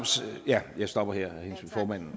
jeg stopper her